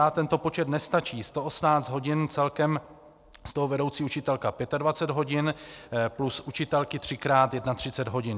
A tento počet nestačí, 118 hodin celkem, z toho vedoucí učitelka 25 hodin plus učitelky třikrát 31 hodin.